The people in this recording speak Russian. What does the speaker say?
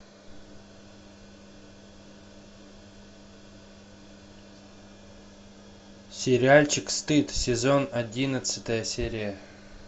сериальчик стыд сезон одиннадцатая серия